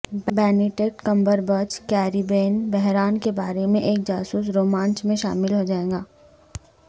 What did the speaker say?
Benedict Cumberbatch Caribbean بحران کے بارے میں ایک جاسوس رومانچ میں شامل ہو جائے گا